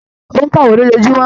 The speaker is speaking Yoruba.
Ó ń ka ìwé lójoojúmọ́